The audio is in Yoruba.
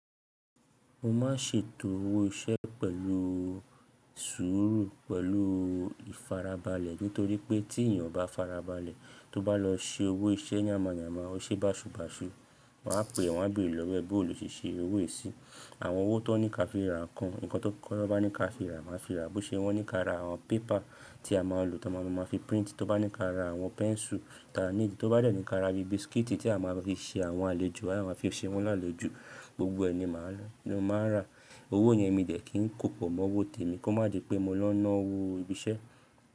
Mo máa ń ṣètò owó iṣẹ́ pẹ̀lú sùúrù pẹ̀lú ìfarabalẹ̀. Nítorí pé tí èèyàn bá farabalẹ̀, tó bá lọ ṣe owó iṣẹ́ n yàmàyàmà, ó ṣe é báṣubàṣu. Wọn á pè é, wọ́n á béèrè lọ́wọ́ ẹ bo lo ṣèṣe owó è sì. Àwọn owó tó ní ká fi ra nǹkan, ǹkan tó kọ́ bá ní ká fi ra, màá fi ra. Bí ó ṣe wọ́n ní ká ra àwọn pépà tí a máa ń lò tí a máa fi print, tó bá ní ká ra àwọn pẹ́ńsù, tàá ní ìdí, tó bá dẹ̀ ní ká ra bí biskiti tí a máa fi ṣe àwọn àlejò, àwọn tí a máa fi ṣe wọ́n lálejò, gbogbo ẹ̀ ní màá lò, ni mo máa rà. Owó yẹn mi dẹ̀ kí n kòpọ̀ mọ́ owó tèmi kó má di pé mo lọ ná owó ibi iṣẹ́.